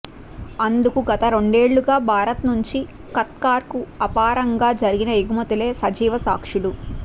అందుకు గతరెండేళ్లుగా భారత్ నుంచి ఖతార్కు అపారంగా జరిగిన ఎగుమతులే సజీవసాక్ష్యాలు